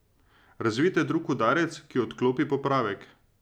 Razvijte drug udarec, ki odklopi popravek.